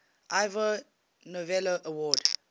ivor novello award